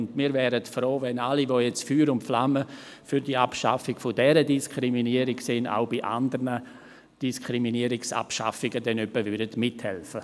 Und wir wären froh, wenn alle, die jetzt Feuer und Flamme für die Abschaffung dieser Diskriminierung sind, denn auch bei anderen Diskriminierungsabschaffungen mithälfen.